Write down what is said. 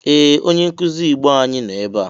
Ee! Onye nkụzi Igbo anyi nọ ebea.